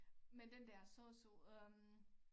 Men den der sosu der